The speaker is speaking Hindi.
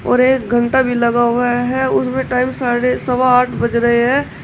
और एक घंटा भी लगा हुआ है उसमें टाइम साढ़े सवा आठ बज रहे हैं।